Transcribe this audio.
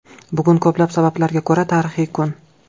Bugun ko‘plab sabablarga ko‘ra tarixiy kun.